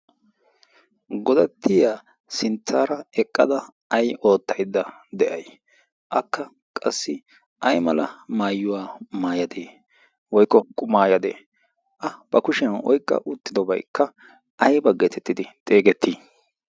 godattiya sinttaara eqqada ai oottaidda de7ai akka qassi ai mala maayuwaa maayadee woikko qumaayadee? a ba kushiyan oiqqa uttidobaikka aiba geetettidi xeegettii?